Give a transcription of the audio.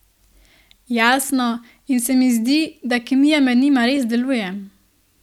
Jasno, in se mi zdi, da kemija med njima res deluje.